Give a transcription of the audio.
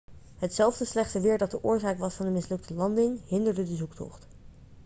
hetzelfde slechte weer dat de oorzaak was van de mislukte landing hinderde de zoektocht